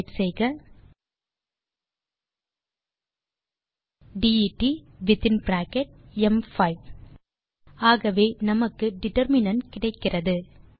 type செய்க det வித்தின் bracket ம்5 ஆகவே நமக்கு டிட்டர்மினன்ட் கிடைக்கிறது